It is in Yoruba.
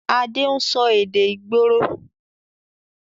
Adé ń sọ èdè ìgboro